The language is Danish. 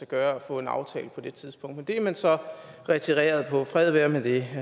gøre at få en aftale på det tidspunkt men det er man så retireret på fred være med det